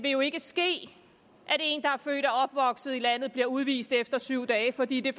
ikke vil ske at en der er født og opvokset i landet bliver udvist efter syv dage fordi de